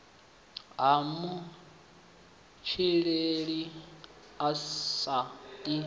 ha matshilele a si a